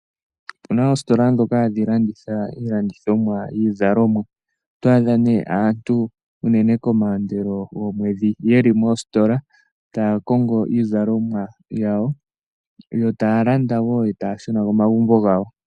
Opuna oositola ndhoka hadhi landitha iizalomwa. Otwaadha aantu unene komaandelo gomwedhi yeli moositola tay kongo iizalomwa yawo, taya landa nokushuna komagumbo gawo.